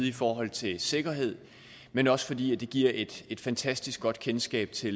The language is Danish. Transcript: i forhold til sikkerhed men også fordi det giver et et fantastisk godt kendskab til